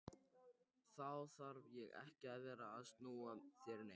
Þá þarf ég ekki að vera að snúa þér neitt.